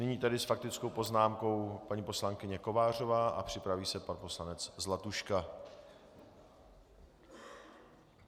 Nyní tedy s faktickou poznámkou paní poslankyně Kovářová a připraví se pan poslanec Zlatuška.